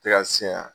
Tɛ ka si yan